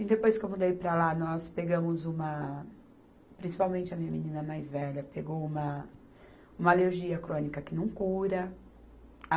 E depois que eu mudei para lá, nós pegamos uma, principalmente a minha menina mais velha, pegou uma, uma alergia crônica que não cura.